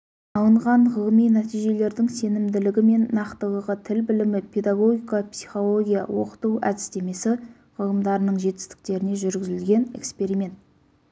алынған ғылыми нәтижелердің сенімділігі мен нақтылығы тіл білімі педагогика психология оқыту әдістемесі ғылымдарының жетістіктеріне жүргізілген эксперимент